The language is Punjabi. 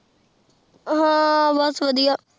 ਹਾਂ ਬਸ ਵਧੀਆ